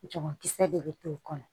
Jagokisɛ de bɛ to kɔnɔ